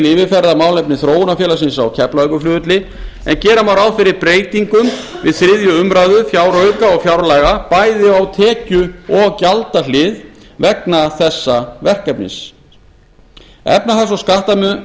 yfirferðar málefni þróunarfélagsins á keflavíkurflugvelli en gera má ráð fyrir breytingum við þriðju umræðu fjárauka og fjárlaga bæði á tekju og gjaldahlið vegna þessa verkefnis efnahags og